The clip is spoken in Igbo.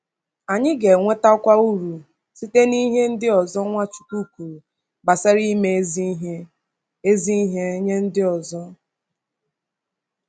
Anyị ga-enwetakwa uru site n’ihe ndị ọzọ Nwachukwu kwuru gbasara ime ezi ihe ezi ihe nye ndị ọzọ.